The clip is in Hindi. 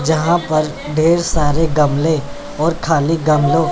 यहां पर बहुत सारे गमले और खाली गमलों--